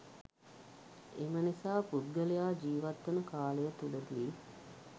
එමනිසා පුද්ගලයා ජීවත්වන කාලය තුළ දී